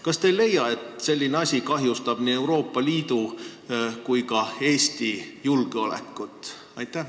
Kas te ei leia, et selline asi kahjustab nii Euroopa Liidu kui ka Eesti julgeolekut?